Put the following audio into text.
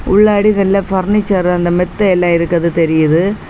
உள்ளாடிக்ள்ள furniture அந்த மெத்தே எல்லா இருக்கிறது தெரியுது.